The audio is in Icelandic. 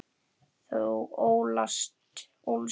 Þú ólst þá.